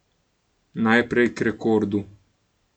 Najprej k rekordu.